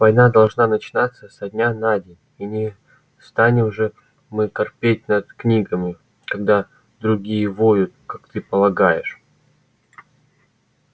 война должна начинаться со дня на день и не станем же мы корпеть над книгами когда другие воют как ты полагаешь